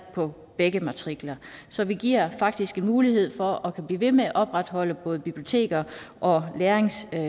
på begge matrikler så vi giver faktisk mulighed for at man kan blive ved med at opretholde både biblioteker og læringscentre